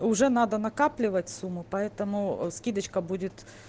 уже надо накапливать сумму поэтому скидочка будет